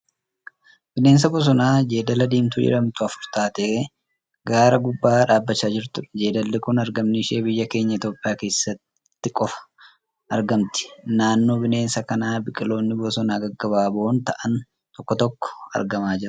Bineensa bosonaa Jeedala Diimtuu jedhamtu afur taatee gaara gubbaa dhaabbachaa jirtuudha. Jeedalli kun argamni ishee biyya keenya Itiyoopiyaa keessatti qofa. Naannoo bineensa kanaa biqiloonni bosonaa gabaaboo ta'an tokko tokko argamaa jiru.